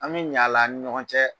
An bi ɲ'a la an ni ɲɔgɔn cɛ.